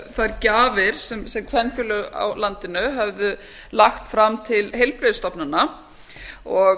þær gjafir sem kvenfélög á landinu höfðu lagt fram til heilbrigðisstofnana og